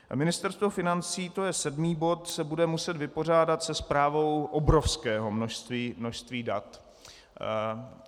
Ministerstvo financí - to je sedmý bod - se bude muset vypořádat se správou obrovského množství dat.